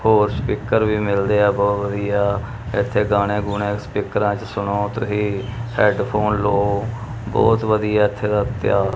ਹੋਰ ਸਪੀਕਰ ਵੀ ਮਿਲਦੇ ਆ ਬਹੁਤ ਵਧੀਆ ਇਥੇ ਗਾਣੇ ਗੁਣੇ ਸਪੀਕਰਾਂ ਚ ਸੁਣੋ ਤੁਸੀਂ ਹੈਡਫੋਨ ਲੋ ਬਹੁਤ ਵਧੀਆ ਇਥੇ ਦਾ--